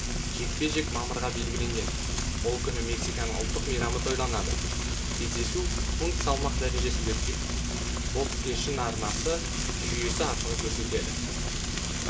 жекпе-жек мамырға белгіленген ол күні мексиканың ұлттық мейрамы тойланады кездесу фунт салмақ дәржесінде өтпек бокс кешін арнасы жүйесі арқылы көрсетеді